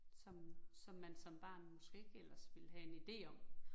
Som som man som barn måske ikke ellers ville have en ide om